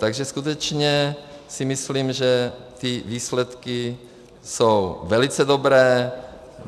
Takže skutečně si myslím, že ty výsledky jsou velice dobré.